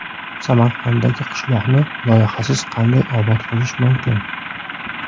Samarqanddagi qishloqni loyihasiz qanday obod qilish mumkin?.